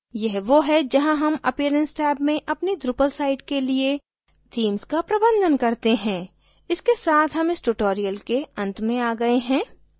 यह वो है जहाँ हम appearance टैब में अपनी drupal site के लिए themes का प्रबंधन करते हैं इसके साथ हम इस ट्यूटोरियल के अंत में आ गए हैं